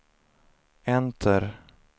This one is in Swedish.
enter